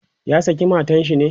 ya saki matan shi ne?